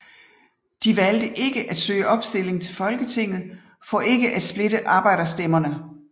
De valgte ikke at søge opstilling til Folketinget for ikke at splitte arbejderstemmerne